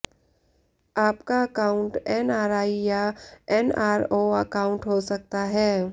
आपका account NRE या NRO account हो सकता है